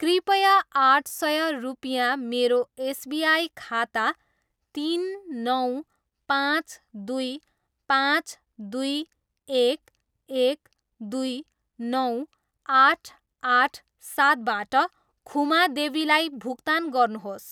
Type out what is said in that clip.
कृपया आठ सय रुपिँया मेरो एस बि आई खाता तिन, नौ, पाँच, दुई, पाँच, दुई, एक, एक, दुई, नौ, आठ, आठ, सातबाट खुमा देवीलाई भुक्तान गर्नुहोस्।